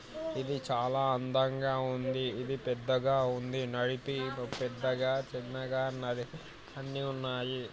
ఇది చాలా అందంగా ఉంది ఇది పెద్ద గా ఉంది నడిపి పెద్దగా చిన్నగా ఉన్నది అన్నీ ఉన్నాయి.